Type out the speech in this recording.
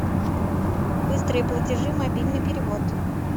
быстрые платежи мобильный перевод